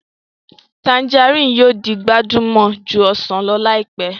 Tanjarínnì yóò di gbajúmọ̀ ju ọsàn lọ láìpẹ́